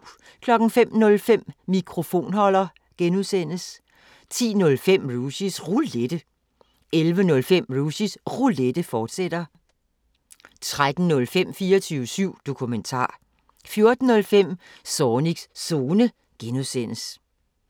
05:05: Mikrofonholder (G) 10:05: Rushys Roulette 11:05: Rushys Roulette, fortsat 13:05: 24syv Dokumentar 14:05: Zornigs Zone (G)